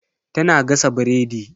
Tana gasa biredi.